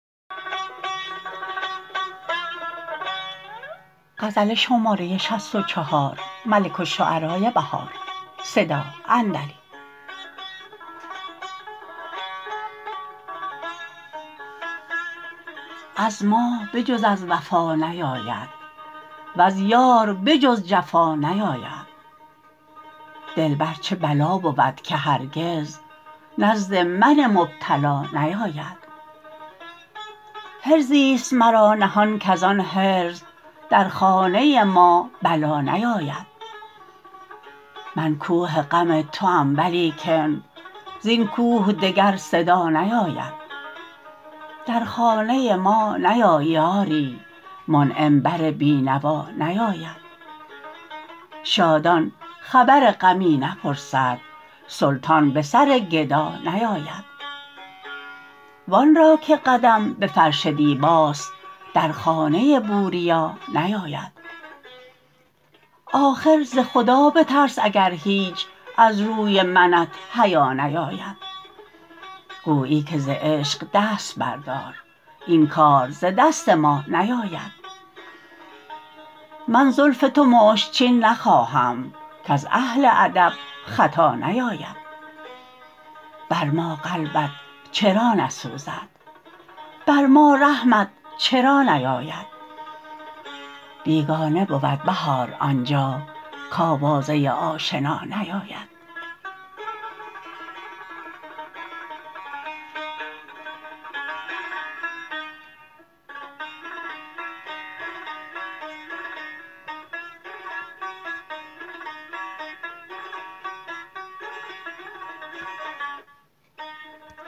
از ما به جز از وفا نیاید وز یار به جز جفا نیاید دلبر چه بلا بود که هرگز نزد من مبتلا نیاید حرزی است مرا نهان کزان حرز در خانه ما بلا نیاید من کوه غم توام ولیکن زین کوه دگر صدا نیاید در خانه ما نیایی آری منعم بر بینوا نیاید شادان خبر غمی نپرسد سلطان به سر گدا نیاید و آن را که قدم به فرش دیباست در خانه ی بوربا نیاید آخر ز خدا بترس اگر هیچ از روی منت حیا نیاید گوبی که ز عشق دست بردار این کار ز دست ما نیاید من زلف تو مشک چین نخوانم کز اهل ادب خطا نیاید بر ما قلبت چرا نسوزد بر ما رحمت چرا نیاید بیگانه بود بهار آنجا کاوازه آشنا نیاید